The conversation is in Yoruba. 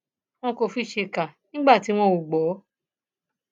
wọn kò fi ṣèkà nígbà tí wọn ò gbọ